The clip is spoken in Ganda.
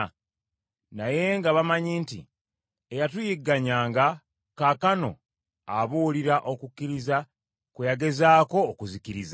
Naye nga bamanyi nti, “Eyatuyigganyanga, kaakano abuulira okukkiriza kwe yagezaako okuzikiriza.”